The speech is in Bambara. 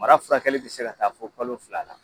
Mara furakɛ bɛ se ka taa fɔ kalo fila la